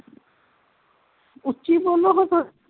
ਉਚੀ ਬੋਲੋ ਹਾ